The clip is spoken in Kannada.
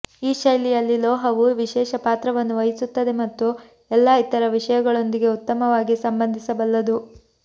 ಈ ಶೈಲಿಯಲ್ಲಿ ಲೋಹವು ವಿಶೇಷ ಪಾತ್ರವನ್ನು ವಹಿಸುತ್ತದೆ ಮತ್ತು ಎಲ್ಲಾ ಇತರ ವಿಷಯಗಳೊಂದಿಗೆ ಉತ್ತಮವಾಗಿ ಸಂಬಂಧಿಸಬಲ್ಲದು